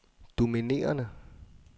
dominerende